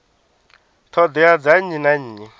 ṱhoḓea dza nnyi na nnyi